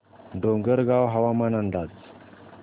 डोंगरगाव हवामान अंदाज